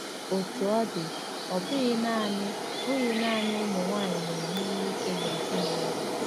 Otú ọ dị, ọ bụghị nanị bụghị nanị ụmụ nwanyị na-eme ihe ike n'ezinụlọ.